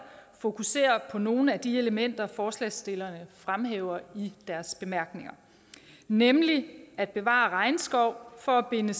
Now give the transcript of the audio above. fokuserer på nogle af de elementer forslagsstillerne fremhæver i deres bemærkninger nemlig at bevare regnskov for at binde